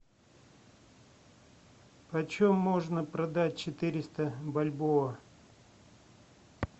почем можно продать четыреста бальбоа